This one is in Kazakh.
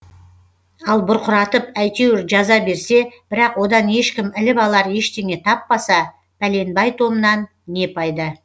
ал бұрқыратып әйтеуір жаза берсе бірақ одан ешкім іліп алар ештеңе таппаса пәленбай томнан не пайда